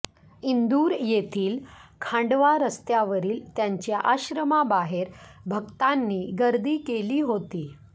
इंदूर येथील खांडवा रस्त्यावरील त्यांच्या आश्रमाबाहेर भक्तांनी गर्दी केली होती